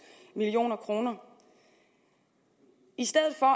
million kroner i stedet for